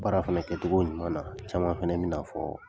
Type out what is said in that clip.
Baara fana kɛcogo ɲuman na, caman fana bɛn'a fɔ